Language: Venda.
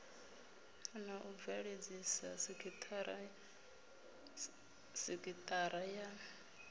na u bveledzisa sekithara ya